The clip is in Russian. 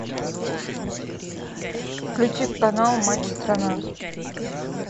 включи канал матч страна